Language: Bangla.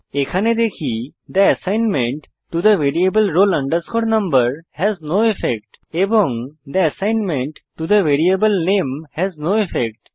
এখানে দেখি the assignment to the variable roll number has no effect এবং the assignment to the variable name has no effect